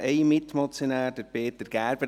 Wir haben noch einen Mitmotionär, Peter Gerber.